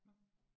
Nåh